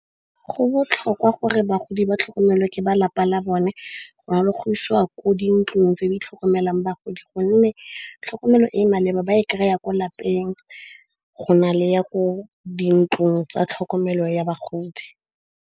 Go botlhokwa gore bagodi ba tlhokomelwa ke ba lapa la bone go na le go isiwa ko dintlong tse di tlhokomelang bagodi. Gonne tlhokomelo e e maleba ba e kry-a ko lapeng go na le ya ko dintlong tsa tlhokomelo ya bagodi.